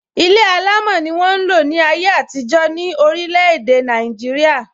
Ilé alámò ni won n lo ni aye atijọ ni orile ede naijiria.